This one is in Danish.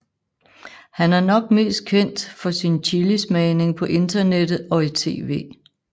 Han er nok mest kendt for sin chilismagning på internettet og i tv